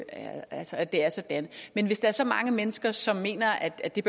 at det er sådan men hvis der er så mange mennesker som mener at det